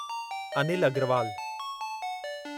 Anil Agarwal